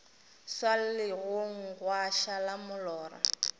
swa legong gwa šala molora